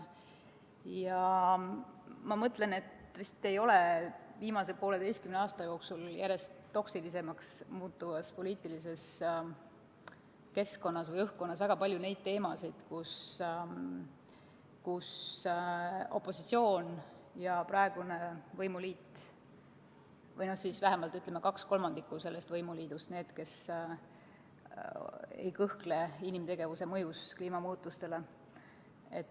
Ma mõtlen, et vist ei ole viimase pooleteise aasta jooksul järjest toksilisemaks muutuvas poliitilises keskkonnas või õhkkonnas väga palju neid teemasid, mille puhul opositsioon ja praegune võimuliit või siis vähemalt kaks kolmandikku võimuliidust ei kahtle inimtegevuse mõjus kliimamuutustele.